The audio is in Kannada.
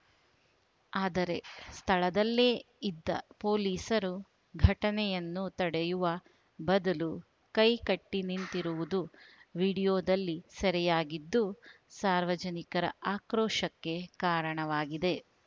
ಆದರೆ ಸ್ಥಳದಲ್ಲೇ ಇದ್ದ ಪೊಲೀಸರು ಘಟನೆಯನ್ನು ತಡೆಯುವ ಬದಲು ಕೈ ಕಟ್ಟಿನಿಂತಿರುವುದು ವಿಡಿಯೋದಲ್ಲಿ ಸೆರೆಯಾಗಿದ್ದು ಸಾರ್ವಜನಿಕರ ಆಕ್ರೋಶಕ್ಕೆ ಕಾರಣವಾಗಿದೆ